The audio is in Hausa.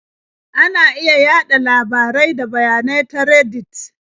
Ana iya yaɗa labarai da bayanai ta Reddit.